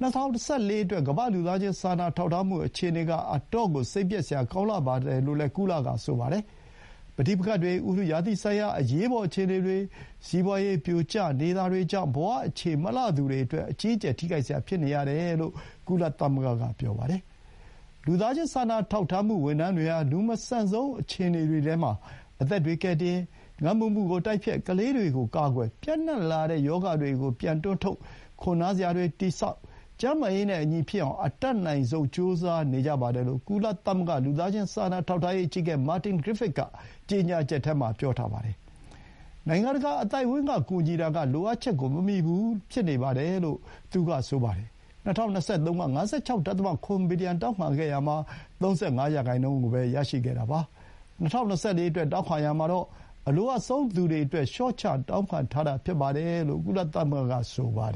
၂၀၂၄ အတွက် ကမ္ဘာ့ လူသားချင်းစာနာထောက်ထားမှု အခြေအနေက အတော့်ကို စိတ်ပျက်စရာကောင်းလှပါတယ်လို့လည်း ဆိုပါတယ်။ ပဋိပက္ခတွေ၊ ဥတုရာသီဆိုင်ရာ အရေးပေါ် အခြေအနေတွေ၊ စီးပွါးရေး ပြိုကျနေတာတွေကြောင့် ဘဝအခြေမလှသူတွေအတွက် အကြီးအကျယ် ထိခိုက်စရာဖြစ်နေရတယ်လို့ ကုလသမဂ္ဂက ပြောပါတယ်။ လူသားချင်းစာနာထောက်ထားမှု ဝန်ထမ်းတွေဟာ လူမဆန်ဆုံး အခြေအနေတွေမှာ အသက်တွေကယ်တင်၊ ငတ်မွတ်မှုကို တိုက်ဖျက်၊ ကလေးတွေကို ကာကွယ်၊ ပျံ့နှံလာတဲ့ရောဂါတွေကို ပြန်တွန်းထုတ်၊ ခိုနားစရာတွေ တည်ဆောက်၊ ကျန်းမာရေးနဲ့အညီဖြစ်အောင် အတတ်နိုင်ဆုံး ကြိုးစားနေကြပါတယ်လို့ ကုလ လူသားချင်းစာနာထောက်ထားရေးအကြီးအကဲ မာတင် ဂရစ်ဖစ် က ကြေညာချက်မှာ ပြောပါတယ်။ နိုင်ငံတကာအသိုက်အဝန်းက ကူညီတာကလိုအပ်ချက်ကို မမီဘူးဖြစ်နေပါတယ်လို့ သူကဆိုပါတယ်။ ၂၀၂၃ တုန်းက ၅၆.၇ ဘီလီယံ တောင်းခံခဲ့ရာမှာ ၃၅ ရာနှုန်းကိုပဲ ရရှိခဲ့တာပါ။ ၂၀၂၄ အတွက်တောင်းခံရာမှာတော့ အလိုအပ်ဆုံးသူတွေအတွက် လျှော့ချတောင်းခံထားတာဖြစ်တယ်လို့ ကုလသမဂ္ဂက ပြောပါတယ်